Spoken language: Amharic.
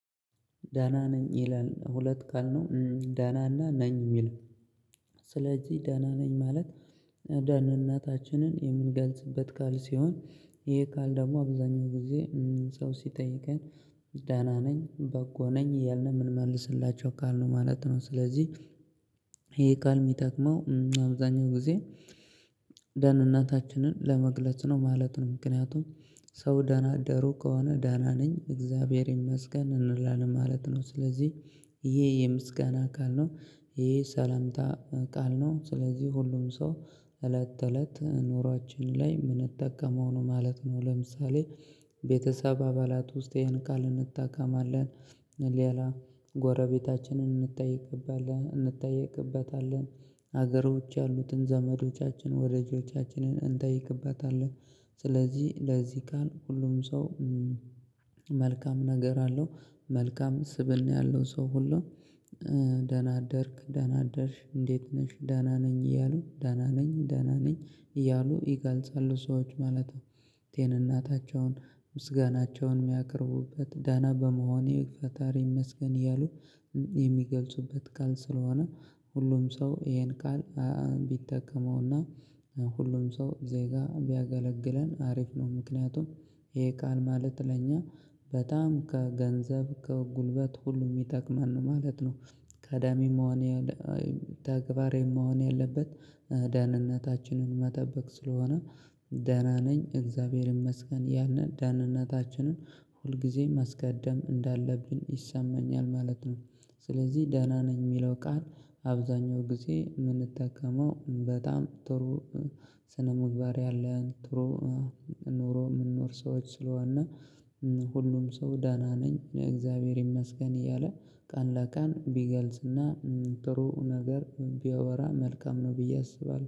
ደህና ነኝ ይላል ሁለት ካልነው ደህናና ነኝ የሚለው። ስለዚህ ደህና ነኝ ማለት። ደህንነታችንን የምንገልጽበት ቃል ሲሆን ይሄ ቃል ደግሞ አብዛኛው ጊዜ ሰው ሲጠይቀኝ ዳና ነኝ በጎ ነኝ እያልነ የምንመልስላቸው ቃል ነው ማለት ነው። ስለዚህ ይሄ ቃል የሚጠቅመው አብዛኛው ጊዜ ደህንነታችንን ለመግለጽ ነው ማለት ነው። ምክንያቱም ሰው ደህና አደሩ ከሆነ ደህና ነኝ እግዚአብሔር ይመስገን እንላለን ማለት ነው። ስለዚህ ይሄ የምስጋና ቃል ነው ይሄ ሰላምታ ቃል ነው። ስለዚህ ሁሉም ሰው እለት እለት ኑሯችን ላይ የምንጠቀመው ነው ማለት ነው። ለምሳሌ ቤተሰብ አባላት ውስጥ ይህን ቃል እንጠቀማለን ሌላ ጎረቤታችንን እንጠይቅበታለን ሀገሮች ያሉትን ዘመዶቻችን ወዳጆቻችንን እንጠይቅበታለን። ስለዚህ ለዚህ ቃል ሁሉም ሰው መልካም ነገር አለው መልካም ስብእና ያለው ሰው ሁሉ። ደህና አደርክ ደህና አደርሽ እንዴት ነሽ ደህና ነኝ እያሉ ደህና ነኝ ደህና ነኝ እያሉ ይገልጻሉ ሰዎች ማለት ነው። ቴን እናታቸውን ምስጋናቸውን የሚያቀርቡበት ደህና በመሆኔ ፈጣሪ ይመስገን እያሉ የሚገልጹበት ቃል ስለሆነ ሁሉም ሰው ይሄን ቃል ቢጠቀመውና ሁሉም ሰው ዜጋ ቢያገለግለን አሪፍ ነው። ምክንያቱም ይሄ ቃል ማለት ለእኛ በጣም ከገንዘብ ከጉልበት ሁሉም የሚጠቅመን ነው ማለት ነው። ቀዳሚም መሆኔ ተግባሬም መሆኔ ያለበት ደህንነታችንን መጠበቅ ስለሆነ ደህና ነኝ እግዚአብሔር ይመስገን አእያልን ደህንነታችንን ሁልጊዜም ማስቀደም እንዳለብን ይሰማኛል ማለት ነው። ስለዚህ ደህና ነኝ የሚለው ቃል አብዛኛው ጊዜ የምንጠቀመው በጣም ጥሩ ስነምግባር ያለን ጥሩ ኑሮ የምንኖር ሰዎች ስለሆነ። ሁሉም ሰው ደህና ነኝ እግዚአብሔር ይመስገን እያለ ቀን ለቀን ቢገልጽና ጥሩ ነገር ቢያወራ መልካም ነው ብዬ አስባለሁ